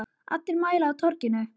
Allir mæta á Torginu